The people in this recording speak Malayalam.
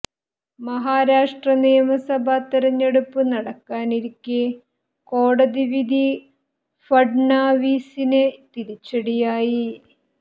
മഹാരാഷ്ട്ര നിയമസഭാ തെരഞ്ഞെടുപ്പ് നടക്കാനിരിക്കെ കോടതി വിധി ഫഡ്നാവിസിന് തിരിച്ചടിയായി